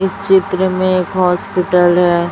इस चित्र में एक हॉस्पिटल हैं।